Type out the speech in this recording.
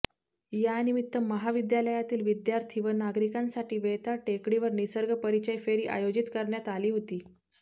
यानिमित्त महाविद्यालयातील विद्यार्थी व नागरिकांसाठी वेताळ टेकडीवर निसर्ग परिचय फेरी आयोजित करण्यात आली होती